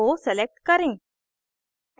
o select करें